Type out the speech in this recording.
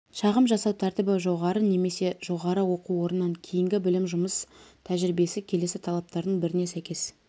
шағым жасау тәртібі жоғары немесе жоғары оқу орнынан кейінгі білім жұмыс тәжірибесі келесі талаптардың біріне сәйкес